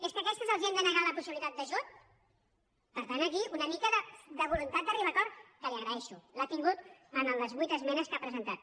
és que a aquestes els hem de negar la possibilitat d’ajut per tant aquí una mica de voluntat d’arribar a acord que li ho agraeixo l’ha tingut en les vuit esmenes que ha presentat